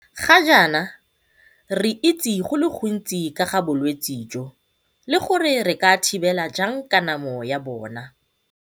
Ga jaana re itse go le gontsi ka ga bolwetse jo le gore re ka thibela jang kanamo ya bona.